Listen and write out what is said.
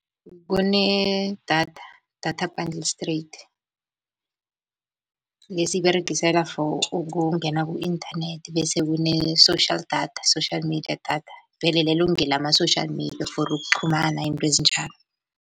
Kunedatha, data bundle straight le esiyiberegisela for ukungena ku-inthanethi. Bese kune-social data, social media data vele lelo ngelama-social media for ukuqhumana izinto ezinjalo.